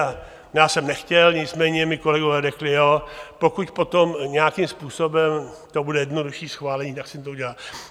A já jsem nechtěl, nicméně mí kolegové řekli jo, pokud potom nějakým způsobem to bude jednodušší schválení, tak se to udělá.